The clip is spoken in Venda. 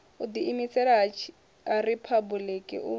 u ḓiimisela ha riphabuliki u